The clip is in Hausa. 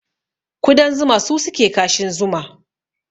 Kudan zuma su suke kashin zuma